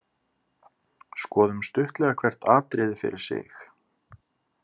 Skoðum stuttlega hvert atriði fyrir sig.